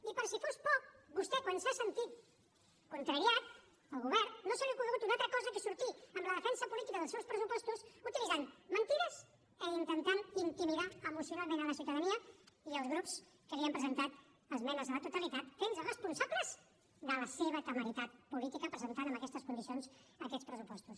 i per si fos poc vostè quan s’ha sentit contrariat el govern no se li ha ocorregut una altra cosa que sortir en la defensa política dels seus pressupostos utilitzant mentides i intentant intimidar emocionalment la ciutadania i els grups que li han presentat esmenes a la totalitat fent los responsables de la seva temeritat política presentant en aquestes condicions aquests pressupostos